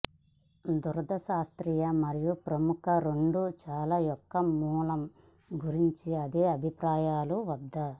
దురద శాస్త్రీయ మరియు ప్రముఖ రెండు చాలా యొక్క మూలం గురించి అదే అభిప్రాయాలు వద్ద